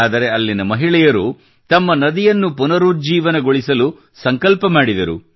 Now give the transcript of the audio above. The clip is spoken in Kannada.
ಆದರೆ ಅಲ್ಲಿನ ಮಹಿಳೆಯರು ತಮ್ಮ ನದಿಯನ್ನು ಪುನರುಜ್ಜೀವನಗೊಳಿಸಲು ಸಂಕಲ್ಪ ಮಾಡಿದರು